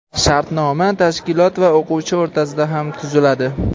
Shartnoma tashkilot va o‘quvchi o‘rtasida ham tuziladi.